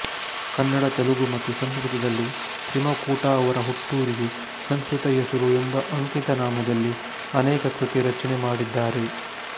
ಕನ್ನಡ ತೆಲುಗು ಮತ್ತು ಸಂಸ್ಕೃತದಲ್ಲಿ ತ್ರಿಮಕುಟ ಅವರ ಹುಟ್ಟೂರಿಗೆ ಸಂಸ್ಕೃತ ಹೆಸರು ಎಂಬಅಂಕಿತನಾಮದಲ್ಲಿ ಅನೇಕ ಕೃತಿರಚನೆ ಮಾಡಿದ್ದಾರೆ